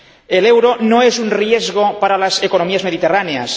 El euro no es un riesgo para las economías mediterráneas.